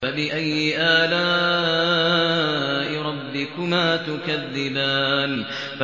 فَبِأَيِّ آلَاءِ رَبِّكُمَا تُكَذِّبَانِ